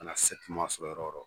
Ka na sɔrɔ yɔrɔ o yɔrɔ